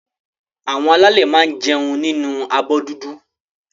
Àwọn alálè máa n jẹun nínu abọ́ dúdú.